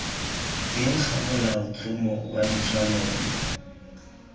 teng ga molaotlhomo wa ditshwanelo